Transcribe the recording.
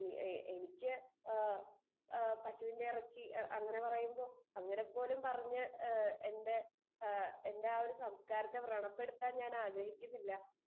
speaker 2 എനിക്ക് പശുവിന്റെ ഇറച്ചി അങ്ങനെ പറയുമ്പോൾ അങ്ങനെ പോലും പറഞ്ഞു എന്റെ സംസ്കാരത്തെ വ്രണപ്പെടുത്താൻ ഞാൻ ആഗ്രഹിക്കുന്നില്ല